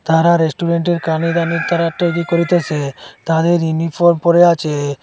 তারা রেস্টুরেন্টের কানে কানে তারা একটা কি করিতেসে তাদের ইউনিফর্ম পরে আছে।